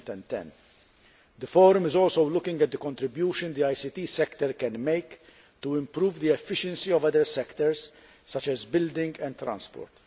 2010. The Forum is also looking at the contribution the ICT sector can make to improve the efficiency of other sectors, such as building and transport.